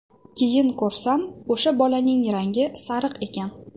Keyin ko‘rsam, o‘sha bolaning rangi sariq ekan.